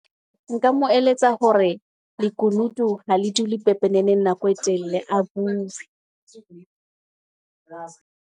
Nka mo eletsa hore lekunutu ho le dule pepeneneng nako e telle a bue.